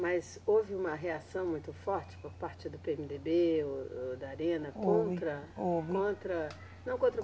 Mas houve uma reação muito forte por parte do PêeMeDêBê ou, ou da Arena. Houve. Contra. Houve. Contra, não contra